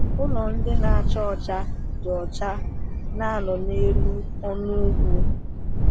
Ụlọ ndị na-acha ọcha dị ọcha na-anọ n’elu ọnụ ugwu.